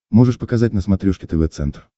можешь показать на смотрешке тв центр